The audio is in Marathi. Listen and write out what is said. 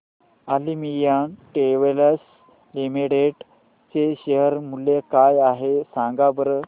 ऑलिम्पिया टेक्सटाइल्स लिमिटेड चे शेअर मूल्य काय आहे सांगा बरं